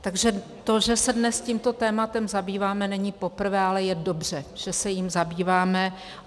Takže to, že se dnes tímto tématem zabýváme, není poprvé, ale je dobře, že se jím zabýváme.